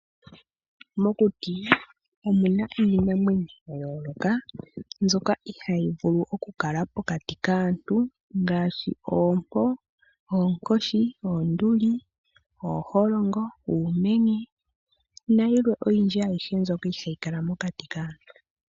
Mokuti omuna iinamwenyo yayolokathana mbyoka ihayi vulu okukala pokati kaantu, ngaashi oompo, oonkoshi, oonduli, ooholongo, oonduli, uumenye niikwawo oyindji ndjoka hayi vulu okukala mokati kaantu.